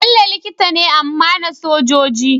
Bello likita ne amma na sojoji